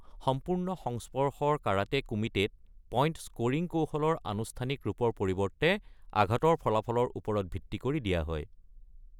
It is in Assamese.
সম্পূৰ্ণ সংস্পৰ্শৰ কাৰাটে কুমিটেত পইণ্ট স্ক’ৰিং কৌশলৰ আনুষ্ঠানিক ৰূপৰ পৰিৱৰ্তে আঘাতৰ ফলাফলৰ ওপৰত ভিত্তি কৰি দিয়া হয়।